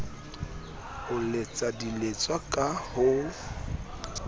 ho letsa diletswa ka ho